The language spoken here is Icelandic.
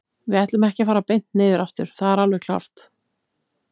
Við ætlum ekki að fara beint niður aftur, það er alveg klárt.